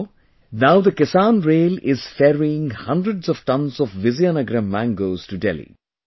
Therefore, now the Kisan Rail is ferrying hundreds of tons of Vizianagaram mangoes to Delhi